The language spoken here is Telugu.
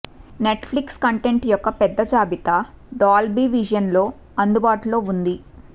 నెట్ ఫ్లిక్స్ కంటెంట్ యొక్క పెద్ద జాబితా డాల్బీ విజన్ లో అందుబాటులో ఉంది